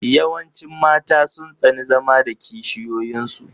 Yawancin mata sun tsani zama da kishiyoyin su.